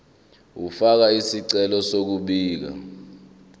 ukufaka isicelo sokubika